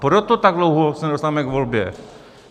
Proto tak dlouho se nedostaneme k volbě.